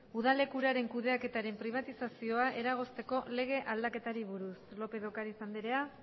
udalek uraren kudeaketaren pribatizazioa eragozteko lege aldaketei buruz lópez de ocariz andrea